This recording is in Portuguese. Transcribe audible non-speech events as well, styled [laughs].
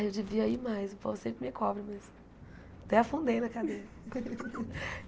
Eu devia ir mais, o povo sempre me cobra, mas... Até afundei na cadeira. [laughs]